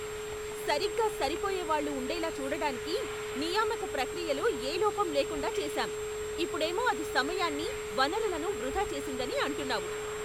సరిగ్గా సరిపోయేవాళ్ళు ఉండేలా చూడడానికి నియామక ప్రక్రియలో ఏ లోపం లేకుండా చేసాం, ఇప్పుడేమో అది సమయాన్ని, వనరులను వృధా చేసిందని అంటున్నావు.